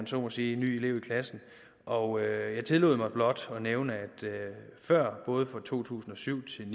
så må sige ny elev i klassen og jeg tillod mig blot at nævne at vi før både for to tusind og syv til